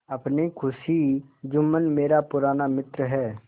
अपनी खुशी जुम्मन मेरा पुराना मित्र है